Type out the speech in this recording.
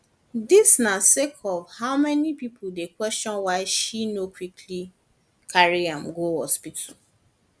dis na sake of how many pipo dey question why she no quickly carry am go hospital